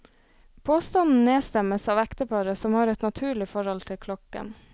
Påstanden nedstemmes av ekteparet som har et naturlig forhold til klokken.